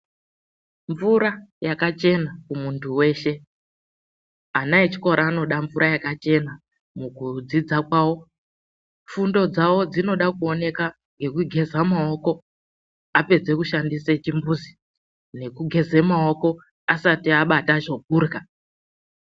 MVURA YAKACHENA KUMUNTU WESHE ANA ECHIKORA ANODA MVURA YAKACHENA MUKUDZIDZA KWAVO FUNDO DZAVO DZINODA KUONEKA NEKUGEZA MAOKO APEDZA KUSHANDISA CHIMBUZI NEKUGEZE MAOKO ASATI ABATA CHEKURYA.